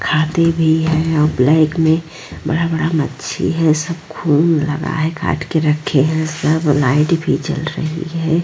खाते भी है और ब्लैक में बड़ा-बड़ा मछी है सब खून लगा है काट के रखे है सब लाइट भी जल रही है।